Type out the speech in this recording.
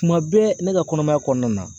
Tuma bɛɛ , ne ka kɔnɔmaya kɔnɔna na.